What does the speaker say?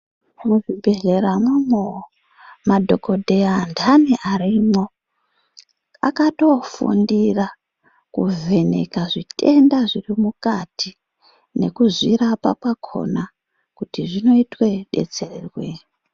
Muzvibhedhlera mwomwo, madhokodheya antani arimwo, akatofundira kuvheneka zvitenda zviri mukati, nekuzvirapa kwakona, kuti zvinoitwe detserweyi.